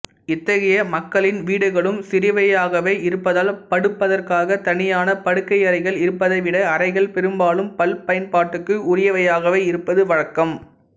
இத்தகைய மக்களின் வீடுகளும் சிறியவையாகவே இருப்பதால் படுப்பதற்காகத் தனியான படுக்கையறைகள் இருப்பதைவிட அறைகள் பெரும்பாலும் பல்பயன்பாட்டுக்கு உரியவையாகவே இருப்பது வழக்கம்